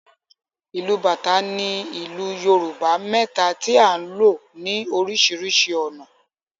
Ìlù bàtá ni ìlù Yorùbá mẹ́ta tí a ń lò ní oríṣiríṣi ọ̀nà.